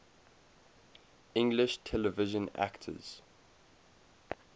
english television actors